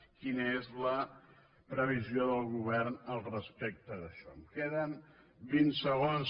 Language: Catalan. quina és la previsió del govern al respecte d’això em queden vint segons